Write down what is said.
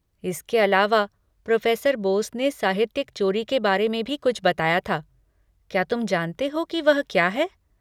इसके अलावा, प्रोफ़ेसर बोस ने साहित्यिक चोरी के बारे में भी कुछ बताया था, क्या तुम जानते हो कि वह क्या है?